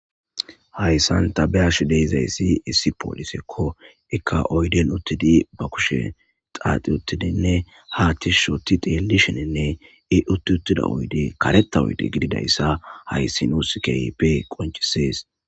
Hayssan ta be7ashe dizayssi issi pooliseko ikka oyden uttidi ba kushe xaaxi uttidi ha tishi xeellishene i uttita oyddey kareththa gidodayssa hayssi nuus keehipe qonccisees.